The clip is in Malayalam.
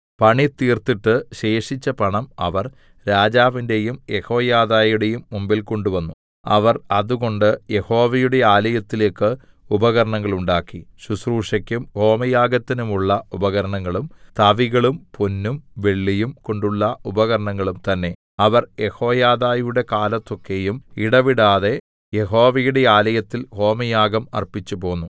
പണിതീർത്തിട്ട് ശേഷിച്ച പണം അവർ രാജാവിന്റെയും യെഹോയാദയുടെയും മുമ്പിൽ കൊണ്ടുവന്നു അവർ അതുകൊണ്ട് യഹോവയുടെ ആലയത്തിലേക്ക് ഉപകരണങ്ങളുണ്ടാക്കി ശുശ്രൂഷക്കും ഹോമയാഗത്തിനുമുള്ള ഉപകരണങ്ങളും തവികളും പൊന്നും വെള്ളിയും കൊണ്ടുള്ള ഉപകരണങ്ങളും തന്നേ അവർ യെഹോയാദയുടെ കാലത്തൊക്കെയും ഇടവിടാതെ യഹോവയുടെ ആലയത്തിൽ ഹോമയാഗം അർപ്പിച്ചുപോന്നു